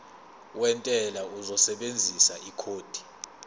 wentela uzosebenzisa ikhodi